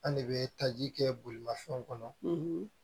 An de bɛ taji kɛ bolimafɛn kɔnɔ